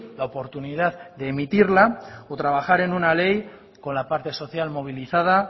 la oportunidad de emitirla o trabajar en una ley con la parte social movilizada